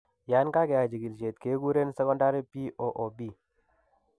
Yaan kageyai chigilisiet keguren secondary BOOP